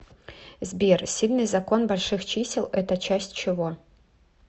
сбер сильный закон больших чисел это часть чего